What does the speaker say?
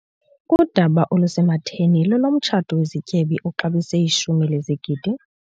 Udaba olusematheni lolomtshato wezityebi oxabise ishumi lezigidi.